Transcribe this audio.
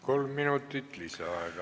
Kolm minutit lisaaega.